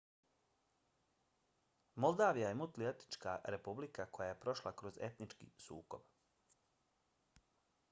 moldavija je multietnička republika koja je prošla kroz etnički sukob